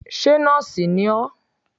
Ṣé nóòsì ni ọ́?